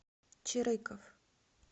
черыков